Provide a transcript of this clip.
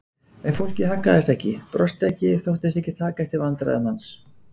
En fólkið haggaðist ekki, brosti ekki, þóttist ekki taka eftir vandræðum hans.